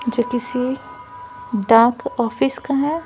जो किसी dark office का है।